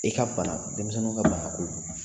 I ka bana, denmisɛnww ka banako